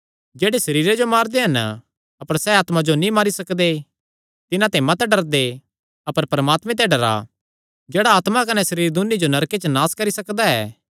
जेह्ड़े सरीरे जो मारदे हन अपर सैह़ आत्मा जो नीं मारी सकदे तिन्हां ते मत डरदे अपर परमात्मे ते डरा जेह्ड़ा आत्मा कने सरीर दून्नी जो नरके च नास करी सकदा ऐ